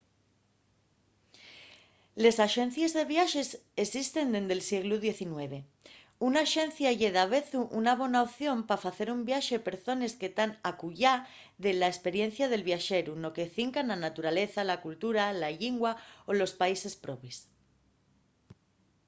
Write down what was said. les axencies de viaxes esisten dende’l sieglu xix. una axencia ye davezu una bona opción pa facer un viaxe per zones que tean acullá de la esperiencia del viaxeru no que cinca a la naturaleza la cultura la llingua o los países probes